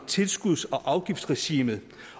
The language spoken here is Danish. tilskuds og afgiftsregimet